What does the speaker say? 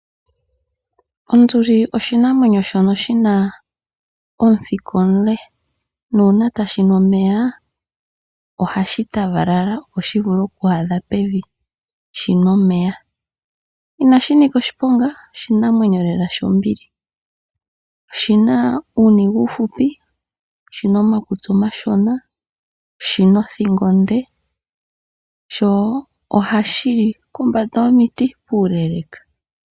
Onduli oshinamwenyo shono shina omuthika omule nuuna tashinu omeya ohashi paganyana opo shivule oku adha pevi shimwe omeya. Inashi nika oshiponga oshinamwenyo lela shombili .oshina uuniga uuhupi ,oshina omakutsi omashona sho oshina othingo onde sho ohashili pombanda yomiti puule.